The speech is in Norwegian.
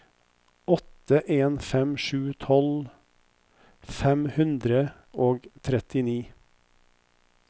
åtte en fem sju tolv fem hundre og trettini